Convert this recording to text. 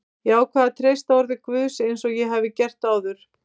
Ég ákvað að treysta orði Guðs eins og ég hafði áður gert.